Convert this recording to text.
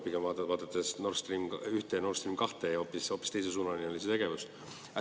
Pigem, vaadates Nord Stream 1 ja Nord Stream 2, võib öelda, et hoopis teisesuunaline oli see tegevus.